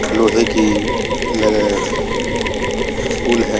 लोहे की ल फूल है --